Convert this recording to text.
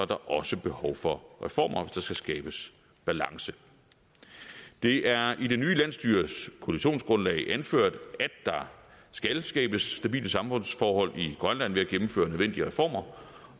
der også behov for reformer der skal skabes balance det er i det nye landsstyres koalitionsgrundlag anført at der skal skabes stabile samfundsforhold i grønland ved at gennemføre nødvendige reformer